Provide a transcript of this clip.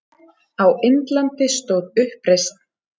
Á Indlandi stóð uppreisn